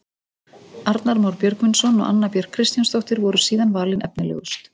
Arnar Már Björgvinsson og Anna Björk Kristjánsdóttir voru síðan valin efnilegust.